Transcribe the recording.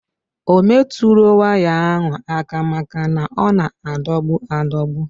Ọ metụro waya ahụ aka maka na ọ na adogbu adogbu.